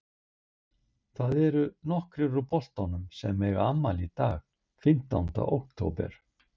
Það eru nokkrir úr boltanum sem að eiga afmæli í dag fimmtánda október.